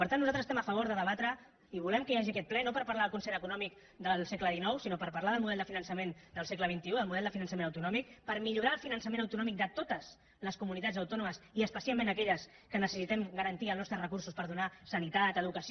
per tant nosaltres estem a favor de debatre i volem que hi hagi aquest ple no per parlar del concert econòmic del segle xix sinó per parlar del model de finançament del segle xxi del model de finançament autonòmic per millorar el finançament autonòmic de totes les comunitats autònomes i especialment d’aquelles que necessitem garantir els nostres recursos per donar sanitat educació